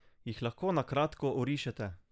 Jih lahko na kratko orišete?